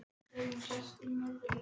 Því er þannig séð lokið.